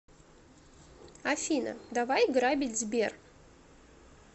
афина давай грабить сбер